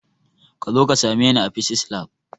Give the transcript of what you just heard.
Kazo ka same ni a fisis lab